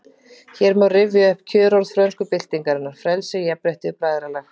Hér má rifja upp kjörorð frönsku byltingarinnar: Frelsi, jafnrétti, bræðralag